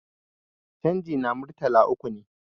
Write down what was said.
canji na Murtala uku ne